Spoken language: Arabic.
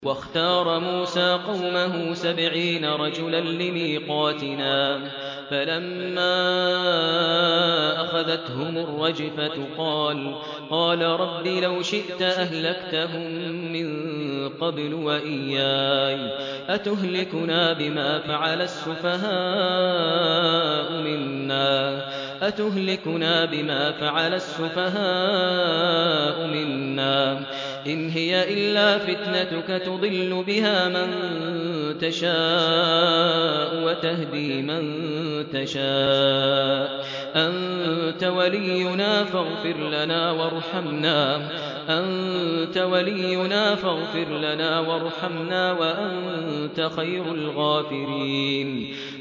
وَاخْتَارَ مُوسَىٰ قَوْمَهُ سَبْعِينَ رَجُلًا لِّمِيقَاتِنَا ۖ فَلَمَّا أَخَذَتْهُمُ الرَّجْفَةُ قَالَ رَبِّ لَوْ شِئْتَ أَهْلَكْتَهُم مِّن قَبْلُ وَإِيَّايَ ۖ أَتُهْلِكُنَا بِمَا فَعَلَ السُّفَهَاءُ مِنَّا ۖ إِنْ هِيَ إِلَّا فِتْنَتُكَ تُضِلُّ بِهَا مَن تَشَاءُ وَتَهْدِي مَن تَشَاءُ ۖ أَنتَ وَلِيُّنَا فَاغْفِرْ لَنَا وَارْحَمْنَا ۖ وَأَنتَ خَيْرُ الْغَافِرِينَ